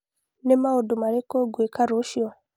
Nĩ maũndũ marĩkũ ngwĩka rũciũ?